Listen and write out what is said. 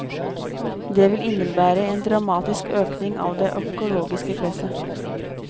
Det vil innebære en dramatisk økning av det økologiske presset.